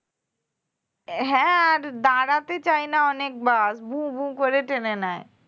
অ্যাঁ হ্যাঁ আর দাঁড়াতে চায়না অনেক bus ভু ভু করে টেনে নেয়